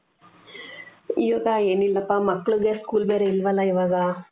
ಈಗ ಎನಿಲ್ಲಾಪ್ಪ ಮಕ್ಕಳಿಗೆ school ಬೇರೆ ಇಲ್ವಲ್ಲಾ ಇವಾಗ